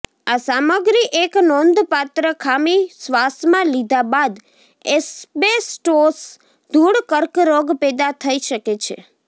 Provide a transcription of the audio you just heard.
આ સામગ્રી એક નોંધપાત્ર ખામી શ્વાસમાં લીધા બાદ એસ્બેસ્ટોસ ધૂળ કર્કરોગ પેદા થઈ શકે છે